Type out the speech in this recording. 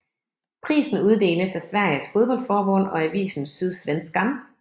Prisen uddeles af Sveriges fodboldforbund og avisen Sydsvenskan